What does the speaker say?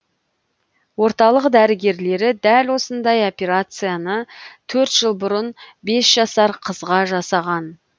орталық дәрігерлері дәл осындай операцияны төрт жыл бұрын бес жасар қызға жасаған